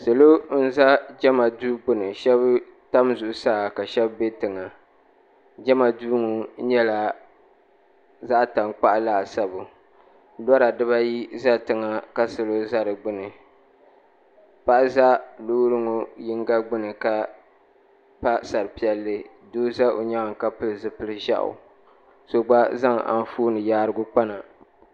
Salo n za jɛma duu gbuni shɛba tam zuɣusaa ka shɛba bɛ tiŋa jɛma duu ŋɔ nyɛla zaɣi taŋkpaɣu laasabu lɔra diba ayi za tiŋa ka salo za di gbuni paɣa za loori ŋɔ yiŋga gbuni ka pa sari piɛlli doo za o yɛanga ka pili zupili zɛyu so gba zaŋ anfooni yaarigu kpa na.